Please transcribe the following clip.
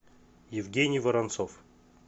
евгений воронцов